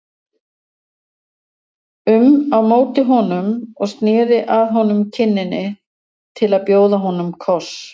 um á móti honum og sneri að honum kinninni til að bjóða honum koss.